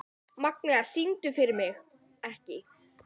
Magna, syngdu fyrir mig „Ekki“.